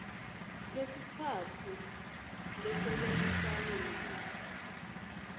besitsatfu lesebentisana nabo